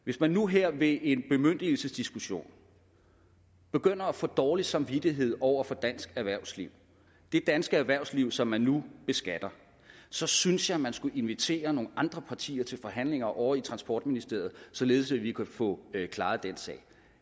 hvis man nu her ved en bemyndigelsesdiskussion begynder at få dårlig samvittighed over for dansk erhvervsliv det danske erhvervsliv som man nu beskatter så synes jeg man skulle invitere nogle andre partier til forhandlinger ovre i transportministeriet således at vi kunne få klaret den sag